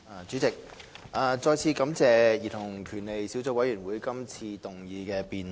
主席，我再次感謝兒童權利小組委員會這次動議辯論。